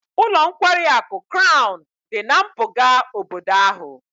Ụlọ nkwari akụ Crown dị na mpụga obodo ahụ